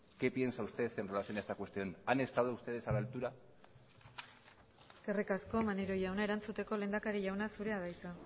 qué piensa usted en relación a esta cuestión han estado ustedes a la altura eskerrik asko maneiro jauna erantzuteko lehendakari jauna zurea da hitza